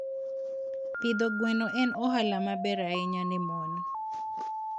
Pidho gwen en ohala maber ahinya ne mon.